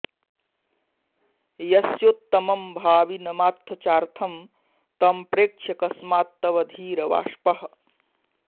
यस्योत्तमं भाविनमात्थ चार्थं तं प्रेक्ष्य कस्मात्तव धीर वाष्पः